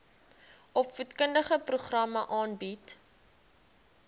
opvoedkundige programme aanbied